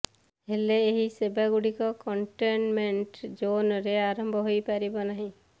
ହେଲେ ଏହି ସେବାଗୁଡିକ କଣ୍ଟେନମେଣ୍ଟ ଜୋନରେ ଆରମ୍ଭ ହୋଇ ପାରିବ ନାହିଁ